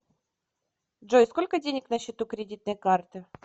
джой сколько денег на счету кредитной карты